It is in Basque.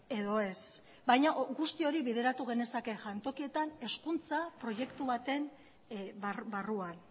edo ez baina guzti hori bideratu genezake jantokietan hezkuntza proiektu baten barruan